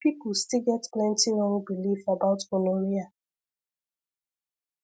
people still get plenty wrong belief about gonorrhea